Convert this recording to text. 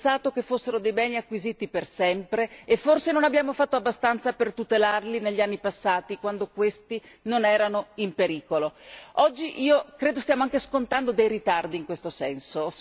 Abbiamo pensato che fossero dei beni acquisiti per sempre e forse non abbiamo fatto abbastanza per tutelarli negli anni passati, quando essi non erano in pericolo. Oggi, credo, stiamo anche scontando dei ritardi in questo senso.